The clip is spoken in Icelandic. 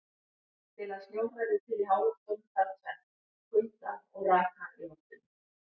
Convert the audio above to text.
Til að snjór verði til í háloftunum þarf tvennt: Kulda og raka í loftinu.